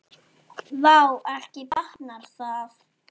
Vá, ekki batnar það!